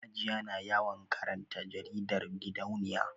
Hajiya na yawan karanta jaridar gidauniya